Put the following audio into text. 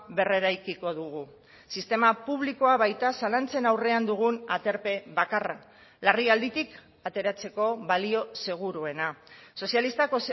berreraikiko dugu sistema publikoa baita zalantzen aurrean dugun aterpe bakarra larrialditik ateratzeko balio seguruena sozialistak